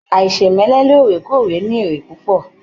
Aisemẹlẹ lóòrèkóòrè ní èrè púpọ.